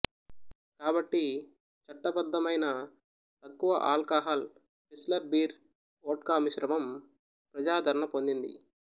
కాబట్టి చట్టబద్దమైన తక్కువఆల్కాహాల్ పిల్స్నర్ బీర్ వోడ్కా మిశ్రమం ప్రజాదరణ పొందింది